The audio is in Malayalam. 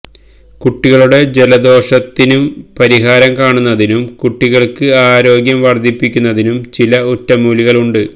കുട്ടികളുടെ ജലദോഷത്തിന് പരിഹാരം കാണുന്നതിനും കുട്ടികള്ക്ക് ആരോഗ്യം വര്ദ്ധിപ്പിക്കുന്നതിനും ചില ഒറ്റമൂലികള് ഉണ്ട്